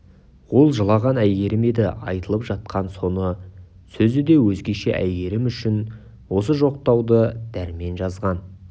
ол жылаған әйгерім еді айтылып жатқан соны сөз де өзгеше әйгерім үшін осы жоқтауды дәрмен жазған